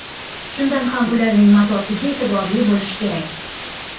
Shunda ham ularning matosiga e’tiborli bo‘lish kerak.